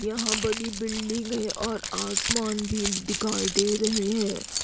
यहां बडी बिल्डिंग है और आसमान भी दिखाई दे रहे हैं।